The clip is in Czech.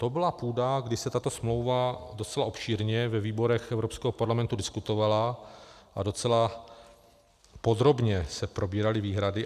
To byla půda, kdy se tato smlouva docela obšírně ve výborech Evropského parlamentu diskutovala a docela podrobně se probíraly výhrady.